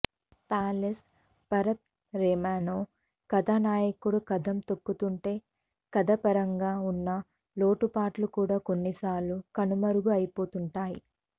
flawless పర్ఫార్మెన్స్తో కథానాయకుడు కదం తొక్కుతుంటే కథాపరంగా వున్న లోటుపాట్లు కూడా కొన్నిసార్లు కనుమరుగు అయిపోతుంటాయి